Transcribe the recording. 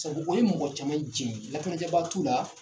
O ye mɔgɔ caman jɛn lakanajɛ baa t'u la.